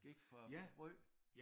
Gik for at få brød